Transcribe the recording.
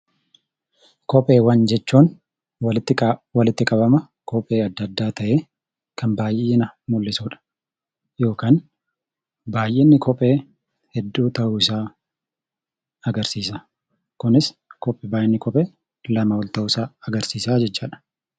Kopheewwan jechuun walitti qabama kophee adda addaa ta'ee kan baay'ina mul'isudha. Kunis baay'inni kopheewwanii hedduu ta'uu agarsiisa.